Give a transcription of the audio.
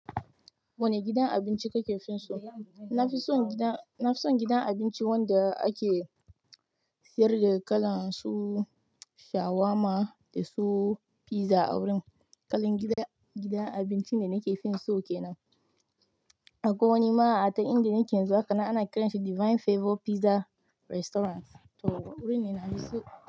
Wane gidan abinci kake fin so? Na fi son gidan, na fi son gidan abinci wanda ake sayar da kalan su shawarma da su pizza a wurin. Kalan gidan, gidan abincin da nake fin so kenan. Akwai wani ma can inda nake yanzu haka nan ana kiranshi Divine Favour Pizza Restaurant. To wurin ne na fi so.